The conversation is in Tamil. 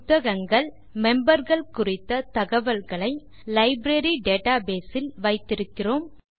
புத்தகங்கள் memberகள் குறித்த தகவல்களை லைப்ரரி டேட்டாபேஸ் இல் வைத்திருக்கிறோம்